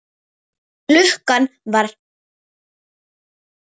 Klukkan var að verða tólf.